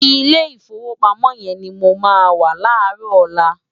Ilé Ifówópámò yèn ni mó má wá láròlá